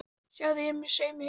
Sjáðu, ég er með saum í hausnum.